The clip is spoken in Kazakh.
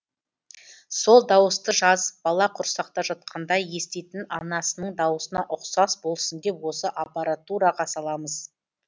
сол дауысты жазып бала құрсақта жатқанда еститін анасының дауысына ұқсас болсын деп осы аппаратураға саламыз